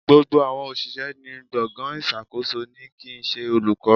Gbogbo àwọn òṣìṣẹ́ ní gbọ̀ngàn ìṣàkóso ni kì ń ṣe olùkọ́.